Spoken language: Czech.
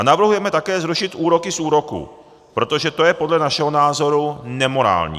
A navrhujeme také zrušit úroky z úroků, protože to je podle našeho názoru nemorální.